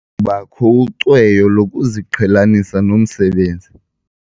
kubakho ucweyo lokuziqhelanisa nomsebenzi.